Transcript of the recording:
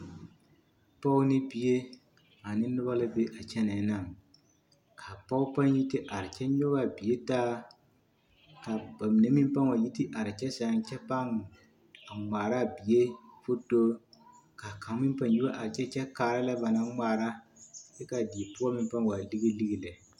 Dɔɔ ne bie ane noba la be a kyɛnɛɛ naŋ ka a pɔge pãã yi te are kyɛ nyɔge a bie taa ka ba mine meŋ pãã wa yi te are kyɛ sɛŋ kyɛ pãã a ŋmaaraa a bie fotori k'a kaŋ meŋ pãã yi wa are kyɛ kyɛ kaara lɛ ba naŋ ŋmaara kyɛ k'a die poɔ meŋ pãã waa lige lige lɛ.